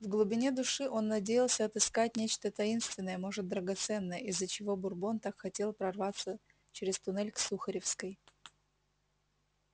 в глубине души он надеялся отыскать нечто таинственное может драгоценное из-за чего бурбон так хотел прорваться через туннель к сухаревской